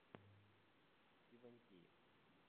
ивантеевкой